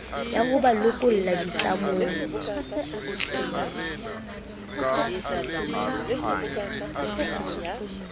ya ho ba lokolla ditlamong